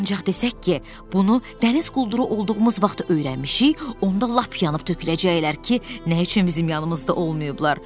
Ancaq desək ki, bunu dəniz qulduru olduğumuz vaxtı öyrənmişik, onda lap yanıb töküləcəklər ki, nə üçün bizim yanımızda olmayıblar.